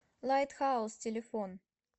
лайтхаус телефон